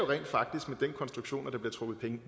rent faktisk med den konstruktion at der bliver trukket penge